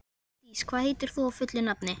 Úlfdís, hvað heitir þú fullu nafni?